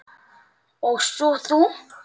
Og svo þú.